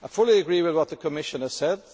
I fully agree with what the Commissioner said.